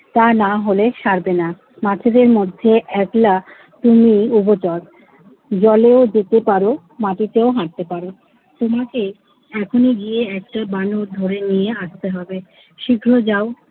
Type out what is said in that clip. তা না হলে সারবে না। মাছেদের মধ্যে একলা তুমিই উভচর। জলেও যেতে পারো মাটিতেও হাটতে পারো। তোমাকে এখনই গিয়ে একটা বানর ধরে নিয়ে আসতে হবে। শীঘ্রই যাও,